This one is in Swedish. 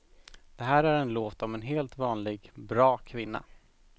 Det här är en låt om en helt vanlig, bra kvinna.